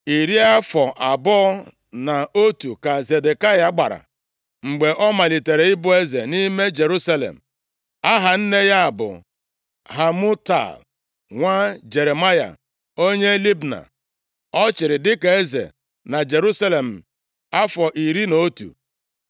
Iri afọ abụọ na otu ka Zedekaya gbara mgbe ọ malitere ịbụ eze nʼime Jerusalem. Aha nne ya bụ Hamutal, nwa Jeremaya onye Libna. Ọ chịrị dịka eze na Jerusalem afọ iri na otu.